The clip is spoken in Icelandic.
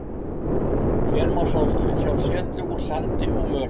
hér má sjá setlög úr sandi og möl